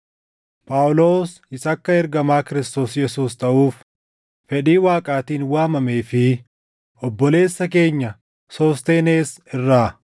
Phaawulos isa akka ergamaa Kiristoos Yesuus taʼuuf fedhii Waaqaatiin waamamee fi obboleessa keenya Soosteenes irraa,